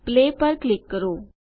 play પર click કરો